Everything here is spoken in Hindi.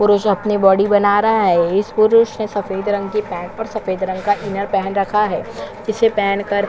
पुरुष अपनी बॉडी बना रहा है इस पुरुष ने सफेद रंग का पैंट सफेद रंग का एक इनर पहन रखा है जिसे पहन कर--